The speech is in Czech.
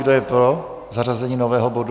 Kdo je pro zařazení nového bodu?